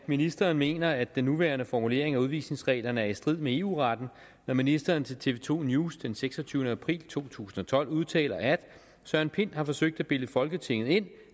at ministeren mener at den nuværende formulering af udvisningsreglerne er i strid med eu retten når ministeren til tv to news den seksogtyvende april to tusind og tolv udtaler at søren pind har forsøgt at bilde folketinget ind